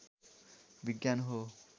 विज्ञान हो